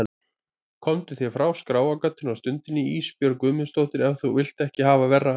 Komdu þér frá skráargatinu á stundinni Ísbjörg Guðmundsdóttir ef þú vilt ekki hafa verra af.